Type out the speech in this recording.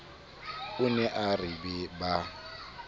o ne a re ba